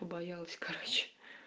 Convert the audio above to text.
побоялась короче